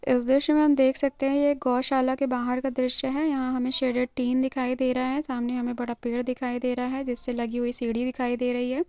इस द्रस्य मे हम देख सकते है ये गोशल्य के बाहर का दरषये हे यहा हमे शदेड़ तीन दिखाई दे रहा हे सामने हमे बाद पेड़ दिखाई दे रहा जिससे लागि हुई सीडी दिखाईद दे रही हे|